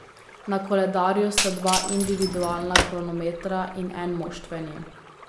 Na koledarju sta dva individualna kronometra in en moštveni.